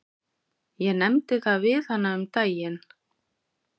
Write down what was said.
Ég nefndi það við hana um daginn.